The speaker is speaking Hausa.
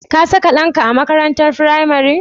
Ka saka ɗanka a makaranatar firamare?